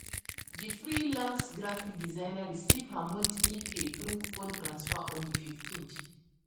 di freelance graphic designer receive her monthly pay through phone transfer on di fifteenth